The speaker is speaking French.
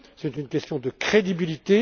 vite. C'est une question de crédibilité.